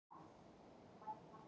Fínt að byrja á erkifjendunum